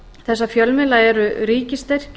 þessa fjölmiðla eru ríkisstyrkir